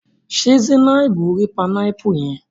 Ṣe Zainabu ri panámpù yẹn?